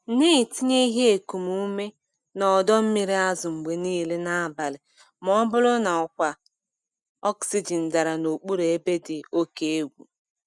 Na-etinye ihe ekum ume na ọdọ mmiri azụ mgbe niile n'abalị ma ọ bụrụ na ọkwa oxygen dara n'okpuru ebe dị oke egwu.